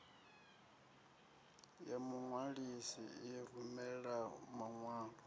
ya muṅwalisi i rumela maṅwalo